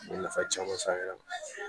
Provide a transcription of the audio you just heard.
N ye nafa caman s'an yɛrɛ ma